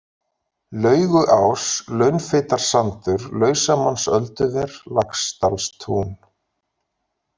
Lauguás, Launfitarsandur, Lausamannsölduver, Laxdalstún